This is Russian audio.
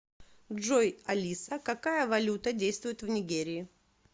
джой алиса какая валюта действует в нигерии